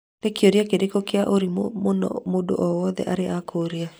Nĩ kĩũria kĩrĩkũ gia ũrimũ mũno mũndũ o wote arĩ akũria